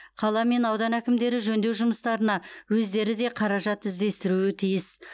қала мен аудан әкімдері жөндеу жұмыстарына өздері де қаражат іздестіруі тиіс